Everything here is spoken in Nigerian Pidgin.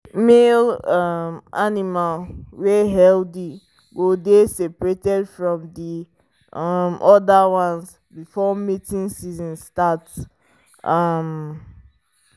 male um animal wey healthy go dey seprated from the um other ones before mating season sart um